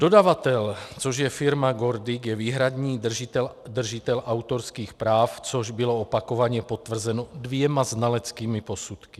Dodavatel, což je firma GORDIC, je výhradní držitel autorských práv, což bylo opakovaně potvrzeno dvěma znaleckými posudky.